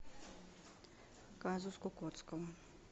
казус кукоцкого